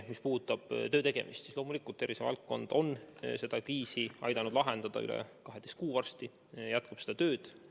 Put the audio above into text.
Mis puudutab töötegemist, siis tervisevaldkond on seda kriisi aidanud lahendada varsti juba üle 12 kuu ja jätkab seda tööd.